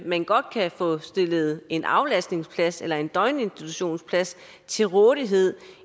man godt kan få stillet en aflastningsplads eller en døgninstitutionsplads til rådighed